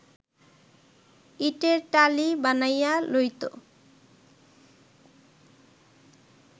ইটের টালি বানাইয়া লইত